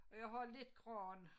Og jeg har lidt gran